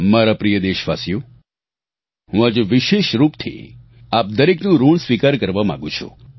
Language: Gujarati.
મારા પ્રિય દેશવાસીઓ હું આજે વિશેષરૂપથી આપ દરેકનું ઋણ સ્વીકાર કરવા માગું છું